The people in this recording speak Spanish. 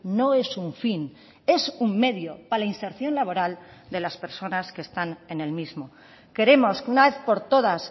no es un fin es un medio para la inserción laboral de las personas que están en el mismo queremos que una vez por todas